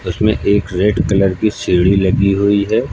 उसमे एक red colour की सीढ़ी लगी हुई है।